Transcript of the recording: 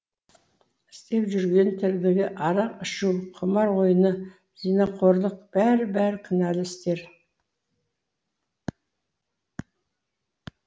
істеп жүрген тірлігі арақ ішу құмар ойыны зинақорлық бәрі бәрі күнәлі істер